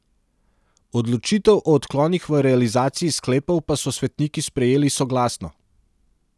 Odločitev o odklonih v realizaciji sklepov pa so svetniki sprejeli soglasno.